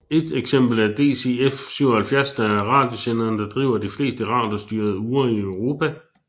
Et eksempel er DCF77 der er radiosenderen der driver de fleste radiostyrede ure i Europa